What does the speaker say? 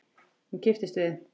Hún kipptist við.